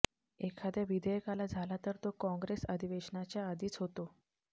एखाद्या विधेयकाला झाला तर तो काँग्रेस अधिवेशनाच्या आधीच होतो